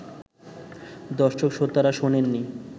দর্শক-শ্রোতারা শোনেননি